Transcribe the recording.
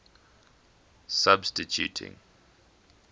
substituting